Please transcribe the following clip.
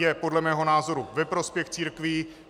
Je podle mého názoru ve prospěch církví.